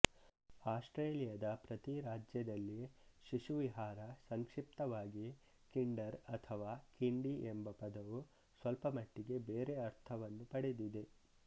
ಆಸ್ಟ್ರೇಲಿಯಾದ ಪ್ರತಿ ರಾಜ್ಯದಲ್ಲಿ ಶಿಶುವಿಹಾರಸಂಕ್ಷಿಪ್ತವಾಗಿ ಕಿಂಡರ್ ಅಥವಾ ಕಿಂಡಿ ಎಂಬ ಪದವು ಸ್ವಲ್ಪಮಟ್ಟಿಗೆ ಬೇರೆ ಅರ್ಥವನ್ನು ಪಡೆದಿದೆ